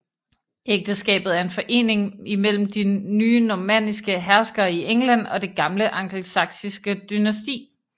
Ægteskabet er en forening mellem de nye normanniske herskere i England og det gamle angelsaksiske dynasti